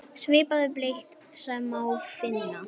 Svipaða bletti má einnig finna á Satúrnusi og Neptúnusi.